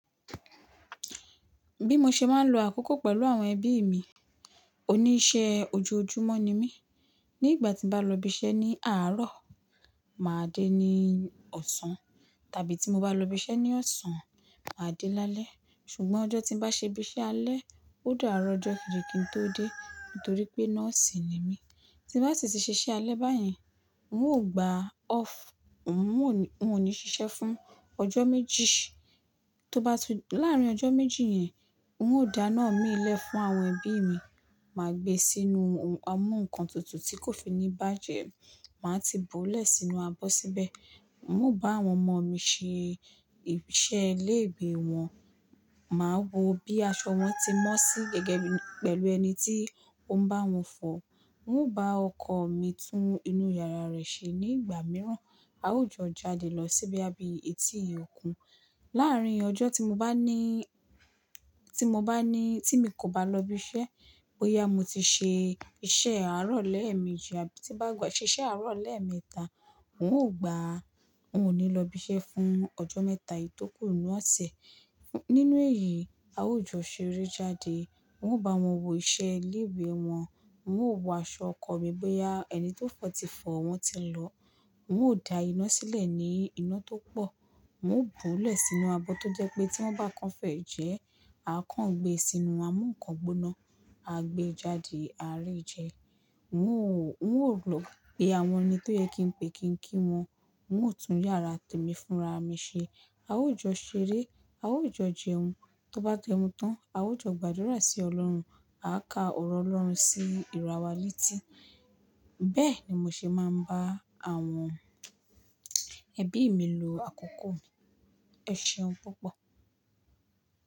Bí mo ṣe máa ń lo àkókò pẹ̀lú àwọn ẹbí mi, oníṣẹ́ ojoojúmọ́ ni mí. Ní ìgbà tí mo bá lọ ibi iṣẹ́ ní àárọ̀, màá dé ní ọ̀sán tàbí tí mo bá lọ ibi iṣẹ́ ní ọ̀sán, màá dé lálẹ́ ṣùgbọ́n ọjọ́ tí bá ṣe ibi iṣẹ́ alẹ́, ó dára ọjọ́ kejì kí n tó dé nítorí pé nọ́ọ̀sì ni mí. Ti bá ti ṣi se iṣẹ́ alẹ́ báyìí, n óò gbà ọ́ọ̀fù, n ò ní ṣiṣẹ́ fún ọjọ́ méjì. Láàrin ọjọ́ méjì yẹn, n óò dáná mi lé fún àwọn ẹbí mi, màá gbé sínú amúǹkantutù tí kò fi ní bá jẹ, màá ti buúlẹ̀ sínú abọ́ síbẹ̀. N óò bá àwọn ọmọ mi ṣe ìṣe ilé ìwé wọn, màá wo bí aṣọ wọn tí mọ́ sí gẹ́gẹ́ pẹ̀lú ẹni tí ó ń bá wọn fọ̀. N óò bá ọkọ mi tún inú yàrá rẹ̀ ṣe ní ìgbà mìíràn. A ó jọ jáde lọ si boya bí etí òkun. Láàrin ọjọ́ tí mo bá ní, tí mo bá ní, tí mi kò bá lọ ibi iṣẹ́, bóyá mo ti ṣe iṣẹ́ àárọ̀ lẹ́ẹ̀mejì àbí tí bá ṣe iṣẹ́ àárọ̀ lẹ́ẹ̀mẹta, n óò gbà, n ò ní lọ ibi iṣẹ́ fún ọjọ́ mẹ́ta yìí tó kù ní ọ̀sẹ̀. Nínú èyí, a ó jọ ṣeré jáde, n óò bá wọn wo iṣẹ́ ilé ìwé wọn, n óò wo aṣọ ọkọ mi bóyá ẹni tó fọ̀ tí fọ̀ wọ́n tí lọ. N óò da iná sílẹ̀ ní iná tó pọ̀, n óò buúlẹ̀ sínú abọ́ tó jẹ́ pé tí wọ́n bá kan fẹ̀ẹ́ jẹ, a kàn gbé e sínú amúǹkan gbóná, a gbé e jáde, a rẹ́ ẹ jẹ. N óò lò pé àwọn ẹni tó yẹ kí n pe kí n kí wọn, n óò tún yàrá tèmi fúnra mi ṣe. A ó jọ ṣeré, a ó jọ jẹun, tó bá jẹun tán, a ó jọ gbàdúrà sí Ọlọ́run, a ka ọ̀rọ̀ Ọlọ́run sí ìràwa letì. Bẹ́ẹ̀ ni mo ṣe máa ń bá àwọn ẹbí mi lo àkókò mi. Ẹ ṣeun púpọ̀.